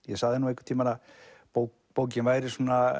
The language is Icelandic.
ég sagði einhvern tímann að bókin væri